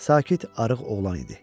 Sakit arıq oğlan idi.